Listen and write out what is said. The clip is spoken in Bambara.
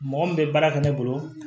Mɔgɔ min bɛ baara kɛ ne bolo